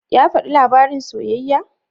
Ya faɗi labarin soyayyar?